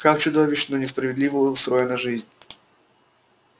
как чудовищно несправедливо устроена жизнь